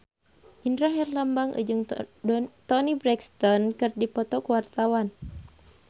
Indra Herlambang jeung Toni Brexton keur dipoto ku wartawan